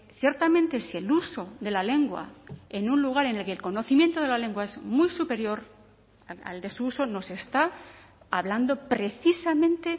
ciertamente si el uso de la lengua en un lugar en el que el conocimiento de la lengua es muy superior al de su uso no se está hablando precisamente